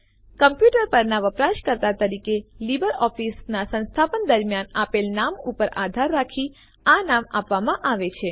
computer પરનાં વપરાશકર્તા તરીકે લીબર ઓફીસનાં સંસ્થાપન દરમ્યાન આપેલ નામ ઉપર આધાર રાખી આ નામ આપવામાં આવે છે